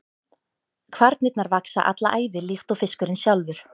Kvarnirnar vaxa alla ævi líkt og fiskurinn sjálfur.